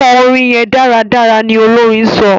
kò orin yén dáradára! ní Olorin sọ.